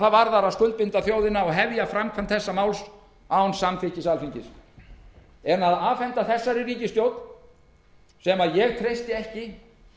varðar að skuldbinda þjóðina og hefja framkvæmd þessa máls án samþykkis alþingis að afhenda ríkisstjórninni sem ég treysti ekki